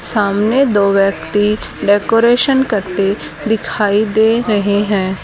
सामने दो व्यक्ति डेकोरेशन करते दिखाई दे रहे हैं।